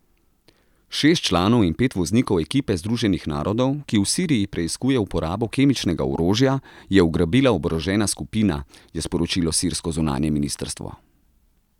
Šest članov in pet voznikov ekipe Združenih narodov, ki v Siriji preiskuje uporabo kemičnega orožja, je ugrabila oborožena skupina, je sporočilo sirsko zunanje ministrstvo.